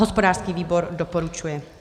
Hospodářský výbor doporučuje.